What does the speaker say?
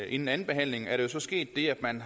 inden andenbehandlingen er der jo så sket det at man